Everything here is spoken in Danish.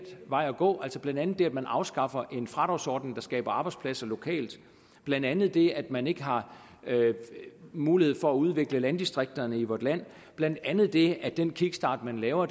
vej at gå blandt andet det at man afskaffer en fradragsordning der skaber arbejdspladser lokalt blandt andet det at man ikke har mulighed for at udvikle landdistrikterne i vort land blandt andet det at den kickstart man laver